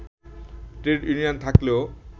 trade union থাকলেও